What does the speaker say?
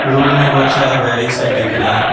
Road में बहोत सारा गाड़ी सब दिख रहा है।